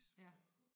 Ja